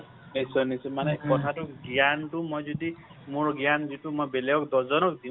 নিশ্চয় নিশ্চয় মানে কথাটো গ্যানটো মই যদি মোৰ গ্যান যিটো মই বেলেগক দহজনক দিও